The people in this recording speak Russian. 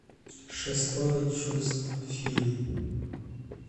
шестое чувство фильм